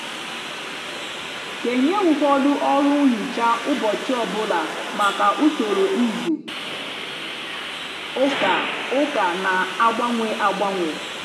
kenye ụfọdụ ọrụ nhicha ụbọchị ọ bụla maka usoro izu ụka ụka na-agbanwe agbanwe.